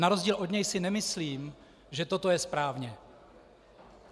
Na rozdíl od něj si nemyslím, že toto je správně.